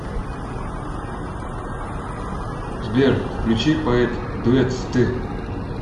сбер включи поэт дуэт ст